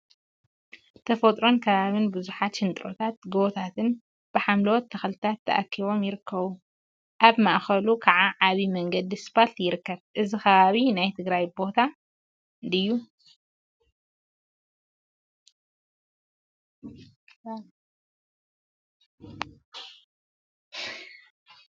ተፈጥሮን አከባቢን ቡዙሓት ሽንጥሮታትን ጎቦታትን ብሓምለዎት ተክልታት ተከቢቦም ይርከቡ፡፡ አብ ማእከሉ ከዓ ዓብይ መንገዲ እስፓልት ይርከብ፡፡ እዚ አከባቢ ናይ ትግራይ ቦታ ድዩ?